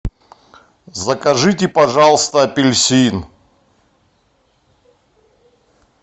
закажите пожалуйста апельсин